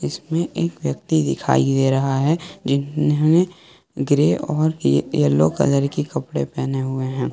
इसमें एक व्यक्ति दिखाई दे रहा है जिन्होंने ग्रे और येलो कलर के कपड़े पहने हुए हैं।